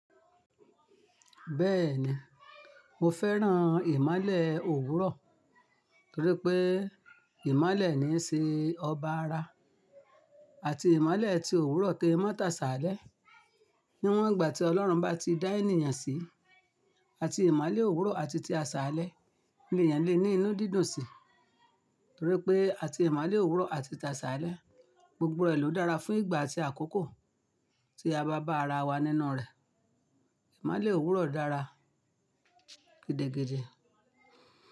Bẹ́ẹ̀ni, mo fẹ́ràn ìmolè òwúrọ̀ torí pé ìmolè ni n ṣe ọba ara àti ìmolè tí òwúrọ̀ to fi mọ́ ta ṣaalẹ́. Níwọn ìgbà tí Ọlọ́run bá ti dá ènìyàn sí, àti ìmolè òwúrọ̀ àti ti aṣàlẹ́ ni èèyàn le ní inú dídùn sí torí pé àti ìmolè òwúrọ̀ àti ti aṣàlẹ́ gbogbo rẹ̀ ló dára fún ìgbà àti àkókò tí a bá bá ara wa nínú rẹ̀. Ìmolè òwúrọ̀ dára gidi gidi.